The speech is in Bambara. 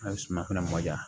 A ye suma fɛnɛ mɔ diya